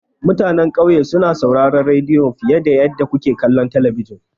Mutanan ƙauye suna sauraron rediyo fiye da yadda suke kallon talabijin.